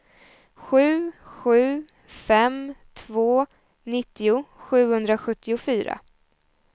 sju sju fem två nittio sjuhundrasjuttiofyra